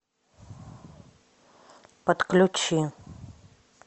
подключи